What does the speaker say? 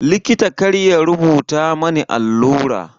Likita kar ya rubuta mani allura.